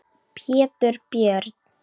Pétur Björn.